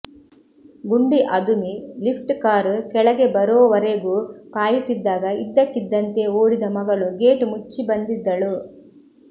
ಗುಂಡಿ ಅದುಮಿ lift car ಕೆಳಗೆ ಬರೋವರೆಗೂ ಕಾಯುತ್ತಿದ್ದಾಗ ಇದ್ದಕ್ಕಿದ್ದಂತೆ ಓಡಿದ ಮಗಳು ಗೇಟ್ ಮುಚ್ಚಿ ಬಂದಿದ್ದಳು